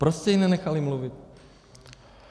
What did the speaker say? Prostě ji nenechali mluvit.